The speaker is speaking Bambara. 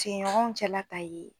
tigiɲɔgɔnw cɛla ta ye